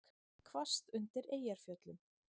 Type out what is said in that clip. Hvasst undir Eyjafjöllum